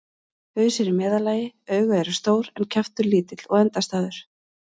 Haus er í meðallagi, augu eru stór en kjaftur lítill og endastæður.